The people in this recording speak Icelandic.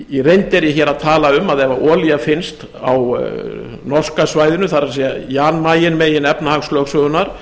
í reynd er ég hér að tala um að ef olía finnst á norska svæðinu það er jan mayen megin efnahagslögsögunnar